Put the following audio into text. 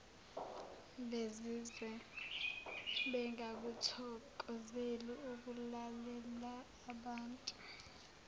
bezizwa bengakuthokozeli ukulalelaabantu